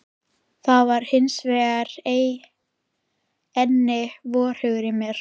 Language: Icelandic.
Það var hins vegar enginn vorhugur í mér.